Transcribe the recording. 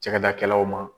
Cakɛdaw ma